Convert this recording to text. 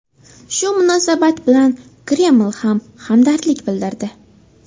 Shu munosabat bilan Kreml ham hamdardlik bildirdi.